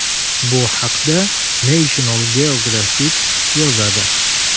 Bu haqda National Geographic yozadi .